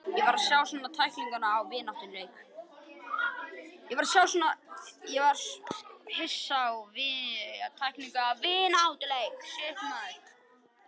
Ég var hissa á að sjá svona tæklingu í vináttuleik.